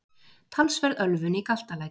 Talsverð ölvun í Galtalæk